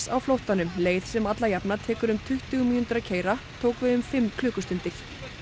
á flóttanum leið sem alla jafna tekur tuttugu mínútur að keyra tók þau um fimm klukkustundir